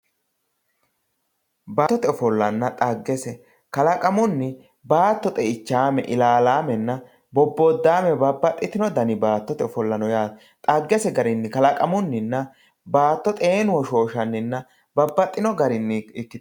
baattote ofollanna xaggese kalaqamunni baatto xe"ichaame, ilalaamenna bobbodaame babbaxitino dani baattote ofolla no yaate xaggese garinni kalaqamunninna baatto xeenu hoshooshanninna babbaxino garinii ikitanno.